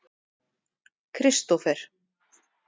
Kristófer